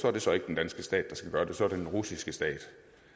er det så ikke den danske stat der skal gøre det så er det den russiske stat